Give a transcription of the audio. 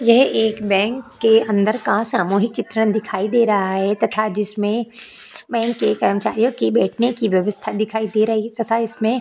यह एक बैंक के अंदर का सामूहिक चित्रण दिखाई दे रहा है तथा जिसमें बैंक के कर्मचारियों की बैठने की व्यवस्था दिखाई दे रही है तथा इसमें --